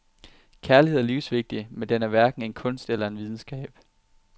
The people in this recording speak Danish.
Kærlighed er livsvigtig, men den er hverken en kunst eller en videnskab.